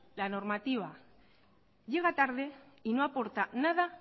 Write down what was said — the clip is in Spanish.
la normativa llega tarde y no aporta nada